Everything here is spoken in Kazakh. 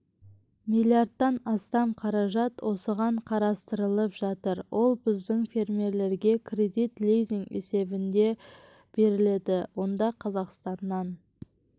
миллиардтан астам қаражат осыған қарастырылып жатыр ол біздің фермерлерге кредит лизинг есебінде беріледі онда қазақстаннан